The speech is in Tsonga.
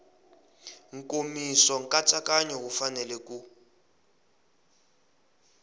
nkomiso nkatsakanyo wu fanele ku